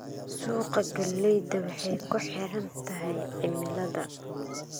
Suuqa galleyda waxay ku xiran tahay cimilada.